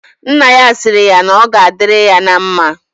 Nna ya sịrị ya na ọ ga adịrị ya na mma